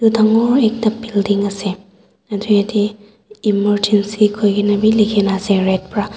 dangor ekta building ase aru yatae emergency koikaena bi likhikaena ase red pra.